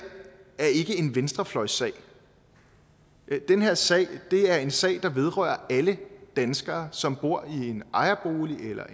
er ikke en venstrefløjssag den her sag er en sag der vedrører alle danskere som bor i en ejerbolig eller